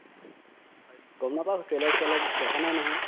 হয়নেকি গম নাপাও trailer চেলাৰ দেখা নাই নহয়